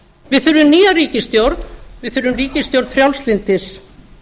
við þurfum nýja ríkisstjórn við þurfum ríkisstjórn frjálslyndis